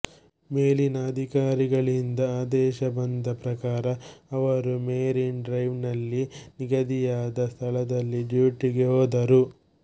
ಮೇಲಿನ ಅಧಿಕಾರಿಗಳಿಂದ ಆದೇಶ ಬಂದ ಪ್ರಕಾರ ಅವರು ಮೆರಿನ್ ಡ್ರೈವ್ನಲ್ಲಿ ನಿಗದಿಯಾದ ಸ್ಥಳದಲ್ಲಿ ಡ್ಯೂಟಿಗೆ ಹೋದರು